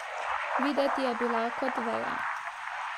Videti je bila kot veja.